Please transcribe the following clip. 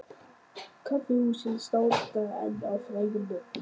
Kaffihúsin státa enn af frægum nöfnum.